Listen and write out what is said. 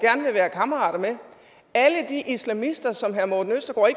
kammerater med alle de islamister som herre morten østergaard